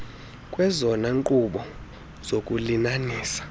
kwezona nqobo zokulinanisa